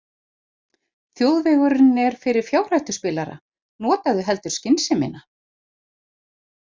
Þjóðvegurinn er fyrir fjárhættuspilara, notaðu heldur skynsemina.